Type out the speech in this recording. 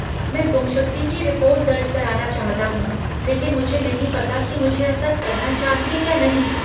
मैं गुमशुदगी की रिपोर्ट दर्ज कराना चाहता हूँ लेकिन मुझे नहीं पता कि मुझे ऐसा करना चाहिए या नहीं।